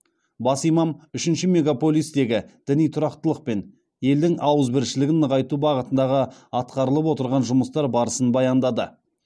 бас имам үшінші мегаполистегі діни тұрақтылық пен елдің ауызбіршілігін нығайту бағытындағы атқарылып отырған жұмыстар барысын баяндады